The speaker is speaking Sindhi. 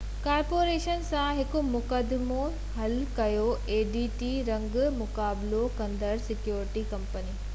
رنگ مقابلو ڪندڙ سيڪيورٽي ڪمپني adt ڪارپوريشن سان هڪ مقدمو حل ڪيو